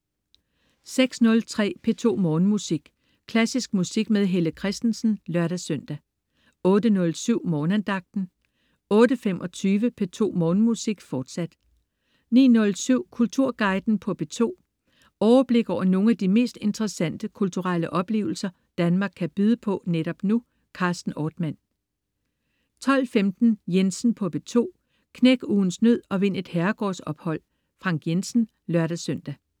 06.03 P2 Morgenmusik. Klassisk musik med Helle Kristensen (lør-søn) 08.07 Morgenandagten 08.25 P2 Morgenmusik, fortsat 09.07 Kulturguiden på P2. Overblik over nogle af de mest interessante kulturelle oplevelser, Danmark kan byde på netop nu. Carsten Ortmann 12.15 Jensen på P2. Knæk ugens nød og vind et herregårdsophold. Frank Jensen (lør-søn)